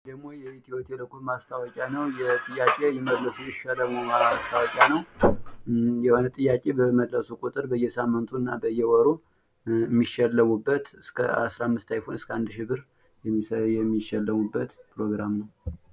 ይሄ ደግሞ የኢትዮ ቴሌኮም ማስታወቂያ የጥያቄ ይመልሱ ይሸለሙ ማስታወቂያ ነው። የሆነ ጥያቄ በመለሱ ቁጥር በየሳምንቱ አና በየወሩ የሚሸለሙበት እስከ አስራምስት አይፎን እስከ አንድ ሺህ ብር የሚሸለሙበት ፕሮግራም ነው።